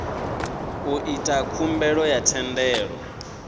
u ita khumbelo ya thendelo